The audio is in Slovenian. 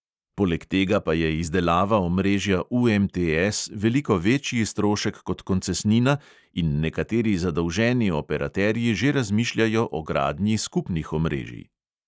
Poleg tega pa je izdelava omrežja UMTS veliko večji strošek kot koncesnina in nekateri zadolženi operaterji že razmišljajo o gradnji skupnih omrežij.